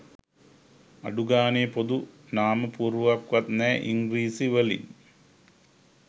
අඩු ගානේ පොදු නමපුවරුවක්වත් නැ ඉංග්‍රිසී වලින්